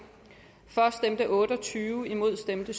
for stemte otte og tyve imod stemte